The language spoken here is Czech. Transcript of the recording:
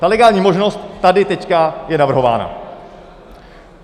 Ta legální možnost tady teď je navrhována.